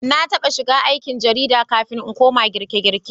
Na taɓa shiga aikin jarida kafin in koma girkegirke